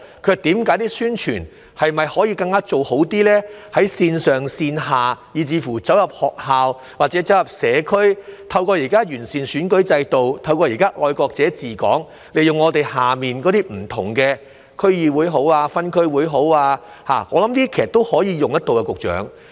他們問宣傳是否可以做得更好，在線上線下，以至走入學校或社區，透過現時完善選舉制度、"愛國者治港"，利用地區的區議會、分區委員會，我相信都可以有作為，局長。